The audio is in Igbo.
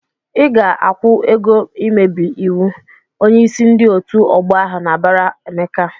"Ị ga-akwụ ego mmebi iwu!" Onyeisi ndị otu ọgbọ ahụ na-abara Emeka.